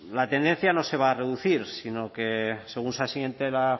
la tendencia no se va a reducir sino que según se asiente la